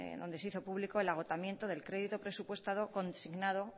donde se hizo público el agotamiento del crédito presupuestado consignado